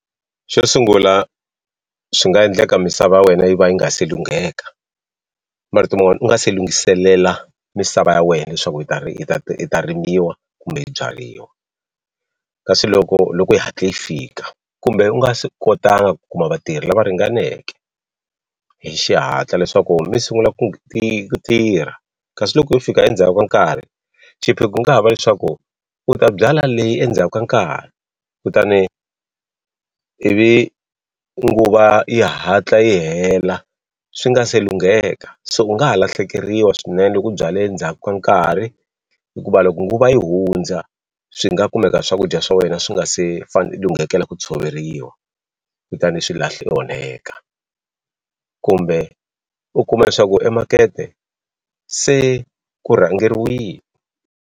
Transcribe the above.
Xo sungula swi nga endleka misava wena yi va yi nga se lungheka marito man'wani u nga se lunghiselela misava ya wena leswaku yi yi ta rimiwa kumbe yi byariwa kasi loko loko i hatle i fika kumbe u nga se kotanga ku kuma vatirhi lava ringaneke hi xihatla leswaku mi sungula ku ku tirha kasi loko yo fika endzhaku ka nkarhi xiphiqo ku nga ha va leswaku u ta byala leyi endzhaku ka nkarhi kutani ivi nguva yi hatla yi hela swi nga se lungheka so u nga ha lahlekeriwa swinene loko u byale ndzhaku ka nkarhi hikuva loko nguva yi hundza swi nga kumeka swakudya swa wena swi nga se lunghekela ku tshoveriwa kutani swi onheka kumbe u kuma leswaku emakete se ku rhangeriwini.